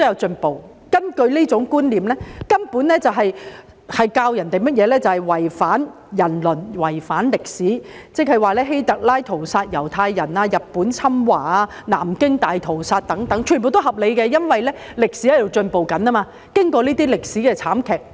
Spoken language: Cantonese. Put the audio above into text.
這種觀念根本在灌輸違反人倫、違反歷史的思想，換言之希特拉屠殺猶太人、日本侵華、南京大屠殺等全皆合理，因為經過這些慘劇和悲劇之後，歷史正在進步。